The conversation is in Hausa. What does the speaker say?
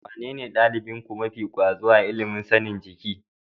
Wanene ɗalibinku mafi ƙwazo a ilimin sanin jiki?